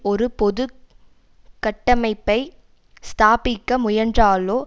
ஒரு பொது கட்டமைப்பை ஸ்தாபிக்க முயன்றாலோ